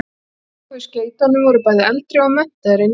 Þær sem tóku við skeytunum voru bæði eldri og menntaðri en ég.